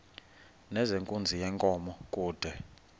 nezenkunzi yenkomo kude